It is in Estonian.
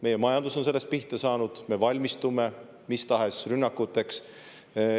Meie majandus on sellest pihta saanud, me valmistume mis tahes rünnakuteks.